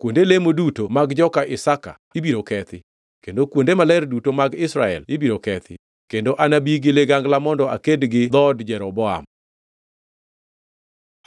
“Kuonde lemo duto mag joka Isaka ibiro kethi kendo kuonde maler duto mag Israel ibiro kethi; kendo anabi gi ligangla mondo aked gi dhood Jeroboam.”